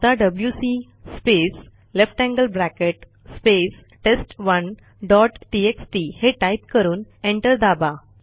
आता WC space less than sign space test dot TXT हे टाईप करून एंटर दाबा